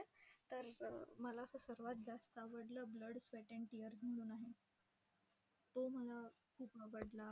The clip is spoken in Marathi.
तर मला असं सर्वात जास्त आवडलं ब्लड, स्वेट अँड टीअर्स म्हणून आहे, तो मला खूप आवडला.